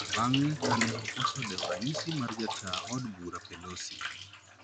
Bang`e ka ne okoso dewo ranyisi mar jataa od bura Pelosi